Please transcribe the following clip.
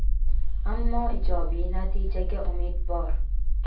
ammo ijobiy natijaga umid bor.